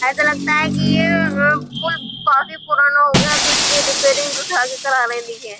ऐसा लगता है की यह काफी पुराना हो गया है तो इसकी रिपेयरिंग रही है।